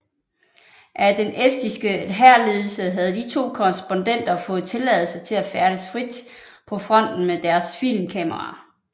Af den estiske hærledelse havde de to korrespondenter fået tilladelse til at færdes frit på fronten med deres filmkamera